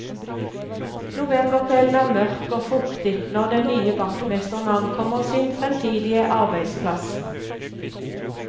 Novemberkvelden er mørk og fuktig når den nye vaktmesteren ankommer sin fremtidige arbeidsplass.